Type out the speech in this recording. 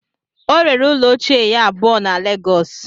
O rere ụlọ ochie ya abụọ na lagos